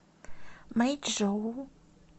мэйчжоу